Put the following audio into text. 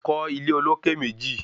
Kọ́ ilé olókè méjì